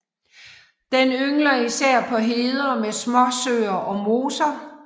Den yngler især på heder med småsøer og moser